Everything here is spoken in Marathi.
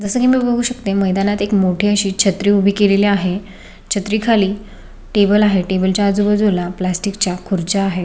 जस की मी बघू शकते मैदानात एक मोठी अशी छत्री उभी केलेली आहे छत्री खाली टेबल आहे टेबल च्या आजूबाजूला प्लॅस्टिक च्या खुर्च्या आहेत.